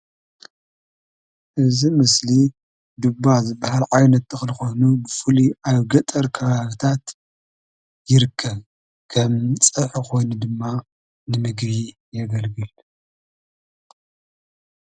እዚ ምስሊ ዱባ ዝባሃል ዓይነት ተክሊ ኮይኑ ብፍላይ አብ ገጠር ከባቢታት ይርከብ። ከም ፀብሒ ከይኑ ድማ ንምግቢ የገልግል፡፡